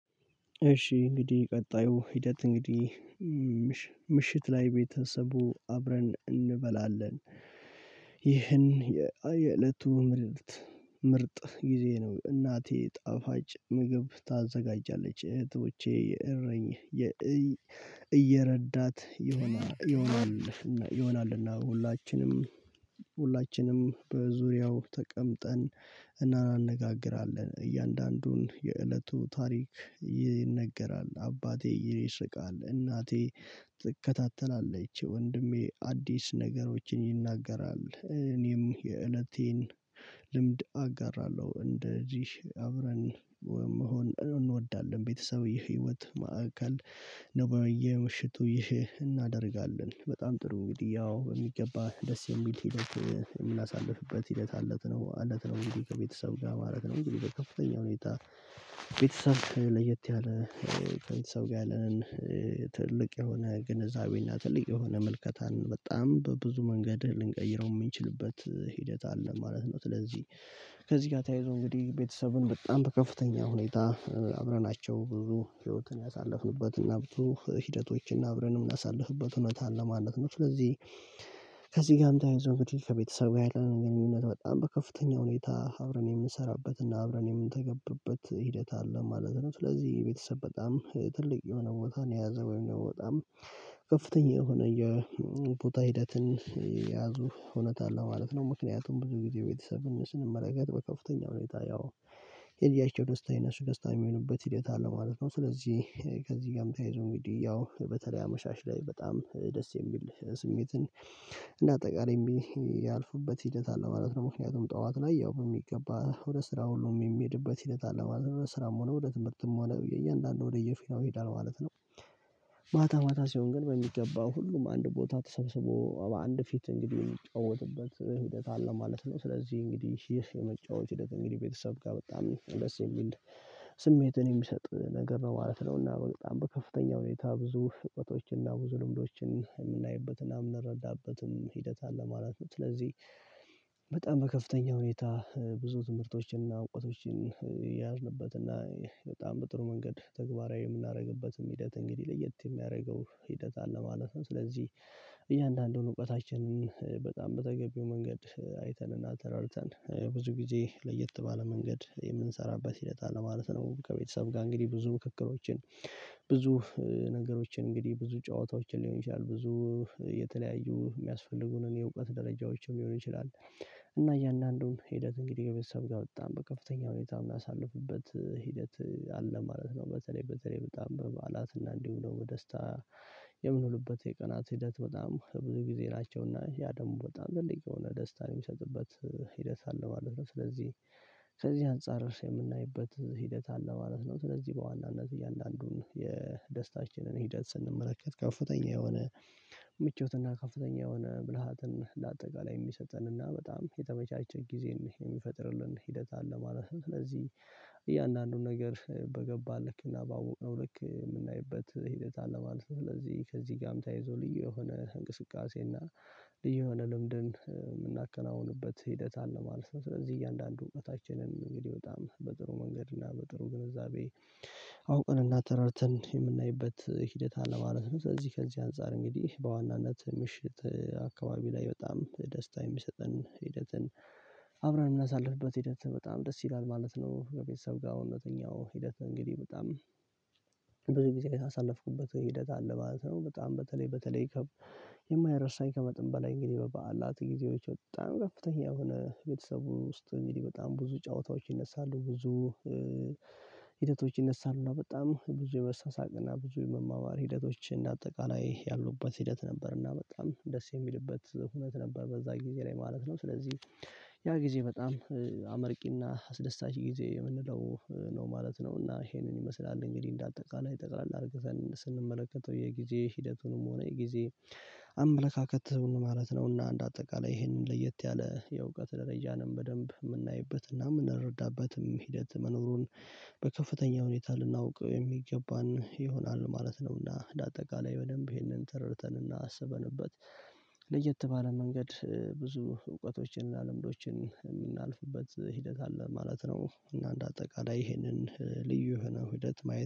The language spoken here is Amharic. እሺ እንግዲህ ቀጣዩ ሂደት እንግዲህ ምሽት ላይ ቤተሰቡ አብረን እንበላለን ይህን የእለቱ ምርርት ምርጥ ጊዜ ነው እናቴ ጣፋጭ ምግብ ታዘጋጃለች እህቶቼ የእረኝ እየረዳት ይሆናል ይሆናልና ሁላችንም ሁላችንም በዙሪያው ተቀምጠን እንነጋግራለን እያንዳንዱን የእለቱ ታሪክ ይነገራል አባቴ ይስቃል እናቴ ትከታተላለች ወንድሜ አዲስ ነገሮችን ይናገራል እኔም የእለቴን ልምድ አጋራለሁ እንደ ጂሽ አብረን መሆን እንወዳለን ቤተሰብ የህይወት ማዕከል ነው በየምሽቱ ይህ እናደርጋለን በጣም ጥሩ እንግዲህ ያው በሚገባ ደስ የሚል ሂደት የምናሳልፍበት ሂደት አለት ነው አለት ነው እንግዲህ ከቤተሰብ ጋር ማለት ነው እንግዲህ በከፍተኛ ሁኔታ ቤተሰብ ለየት ያለ ከቤተሰብ ጋር ያለንን ትልቅ የሆነ ግንዛቤና ትልቅ የሆነ መልከታን በጣም በብዙ መንገድህ ልንቀይረው የምንችልበት ሂደት አለ ማለት ነው ስለዚህ ከዚህ ጋር ተያይዞ እንግዲህ ቤተሰብን በጣም በከፍተኛ ሁኔታ አብረናቸው ብዙ ህይወትን ያሳለፍንበትና ብዙ ሂደቶችን አብረንም የምናሳልፍበት ሁነታ አለ ማለት ነው። ስለዚህ ከዚህ ጋም ተያይዞ እንግዲህ ከቤተሰብ ጋር ያለንን ግንኙነት በጣም በከፍተኛ ሁኔታ አብረን የምንሰራበት እና አብረን የምንተገብርት ሂደት አለ ማለት ነው ስለዚህ ቤተሰብ በጣም ትልቅ የሆነ ቦታ ነው የያዘ ወይም ደግሞ በጣም ከፍተኛ የሆነ የቦታ ሂደትን ያዙ እውነት አለው ማለት ነው ምክንያቱም ብዙ ጊዜ ቤተሰብን ስንመለከት በከፍተኛ ሁኔታ ያው የልጃቸው ደስታ የነሱ ደስታ የሚሆንበት ሂደት አለ ማለት ነው። ስለዚህ ከዚህ ጋም ተያይዞ እንግዲህ ያው በተለይ አመሻሽ ላይ በጣም ደስ የሚል ስሜትን እና አጠቃላይ ያልፉበት ሂደት አለ ማለት ነው ምክንያቱም ጠዋት ላይ ያው በሚገባ ወደ ስራ ሁሉም የሚሄድበት ሂደት አለ ማለት ነው ስራም ሆነ ወደ ትምህርትም ሆነ እያንዳንዱ ወደ የፌናው ይሄዳል ማለት ነው። ማታ ማታ ሲሆን ግን በሚገባው ሁሉም አንድ ቦታ ተሰብስቦ በአንድ ፊት እንግዲህ የሚጫወትበት ሂደት አለ ማለት ነው ስለዚህ እንግዲህ ይህ የመጫወት ሂደት እንግዲህ ቤተሰብ ጋር በጣም ነው ደስ የሚል ስሜትን የሚሰጥ ነገር በማለት ነው እና በጣም በከፍተኛ ሁኔታ ብዙ እውቀቶችን እና ብዙ ልምዶችን የምናይበትና የምንረዳበትም ሂደት አለ ማለት ነው። ስለዚህ በጣም በከፍተኛ ሁኔታ ብዙ ትምህርቶችንና እውቀቶችን የያዝንበትና በጣም በጥሩ መንገድ ተግባራዊ የምናደርግበትም ሂደት እንግዲህ ለየት የሚያደርገው ሂደት አለ ማለት ነው ስለዚህ እያንዳንዱን እውቀታችንን በጣም በተገቢው መንገድ አይተንና ተረድተን ብዙ ጊዜ ለየት ባለ መንገድ የምንሰራበት ሂደት ማለት ነው ከቤተሰብ ጋር እንግዲህ ብዙ ምክክሮችን ብዙ ነገሮችን እንግዲህ ብዙ ጨዋታዎችን ሊሆን ይችላል ብዙ የተለያዩ የሚያስፈልጉንን የእውቀት ደረጃዎችን ሊሆን ይችላል እና እያንዳንዱን ሂደት እንግዲህ ከቤተሰብ ጋር በጣም በከፍተኛ ሁኔታ የምናሳልፍበት ሂደት አለ ማለት ነው በተለይ በተለይ በጣም በበአላትና እንዲሁ ነው በደስታ የምንውልበት የቀናት ሂደት በጣም ብዙ ጊዜ ናቸውና ያ ደግሞ በጣም ትልቅ የሆነ ደስታ የሚሰጥበት ሂደት አለ ማለት ነው። ስለዚህ ከዚህ አንፃር የምናይበት ሂደት አለ ማለት ነው ስለዚህ በዋናነት እያንዳንዱን የደስታችንን ሂደት ስንመለከት ከፍተኛ የሆነ ምቾትና ከፍተኛ የሆነ ብልሃትን ለአጠቃላይ የሚሰጠን እና በጣም የተመቻቸ ጊዜ ነው የሚፈጥርልን ሂደት አለ ማለት ነው። ስለዚህ እያንዳንዱን ነገር በገባን ልክ እና ባወቅነው ልክ የምናይበት ሂደት አለ ማለት ስለዚህ ከዚህ ጋርም ተይዞ ልዩ የሆነ እንቅስቃሴ እና ልዩ የሆነ ልምድን የምናከናውንበት ሂደት አለ ማለት ነው። ስለዚህ እያንዳንዱ እውቀታችንን እንግዲህ በጣም በጥሩ መንገድ እና በጥሩ ግንዛቤ አውቀን እና ተረድተን የምናይበት ሂደት አለ ማለት ነው ስለዚህ ከዚህ አንፃር እንግዲህ በዋናነት ምሽት አካባቢ ላይ በጣም ደስታ የሚሰጠን ሂደትን አብረን የምናሳልፍበት ሂደት በጣም ደስ ይላል ማለት ነው። ከቤተሰብ ጋር እውነተኛው ሂደት እንግዲህ በጣም ብዙ ጊዜ ያሳለፍኩበት ሂደት አለ ማለት ነው። በጣም በተለይ በተለይ ይከብ የማይረሳኝ ከመጥን በላይ እንግዲህ በበዓላት ጊዜዎች በጣም ከፍተኛ የሆነ ቤተሰቡ ውስጥ በጣም ብዙ ጨዋታዎች ይነሳሉ ብዙ ሂደቶች ይነሳሉ በጣም ብዙ የመሳሳቅና ብዙ የመማማር ሂደቶችን አጠቃላይ ያሉበት ሂደት ነበር እና በጣም ደስ የሚልበት ሁኔታ ነበር በዛ ጊዜ ላይ ማለት ነው። ስለዚህ ያ ጊዜ በጣም አመርቂና አስደሳች ጊዜ የምንለው ነው ማለት ነው እና ይሄንን ይመስላል እንግዲህ እንደ አጠቃላይ ጠቅላላ አርገሰን ስንመለከተው የጊዜ ሂደቱንም ሆነ የጊዜ አመለካከት ማለት ነው እና አንድ አጠቃላይ ይሄንን ለየት ያለ የእውቀት ደረጃንም በደንብ የምናይበትና የምንረዳበትም ሂደት መኖሩን በከፍተኛ ሁኔታ ልናውቅ የሚገባን ይሆናል ማለት ነው እና ለአጠቃላይ በደንብ ይሄንን ተረድተንና አስበንበት ለየት ባለ መንገድ ብዙ እውቀቶችን እና ልምዶችን የምናልፍበት ሂደት አለ ማለት ነው። እና እንደ አጠቃላይ ይሄንን ልዩ ሆነ ውህደት ማየት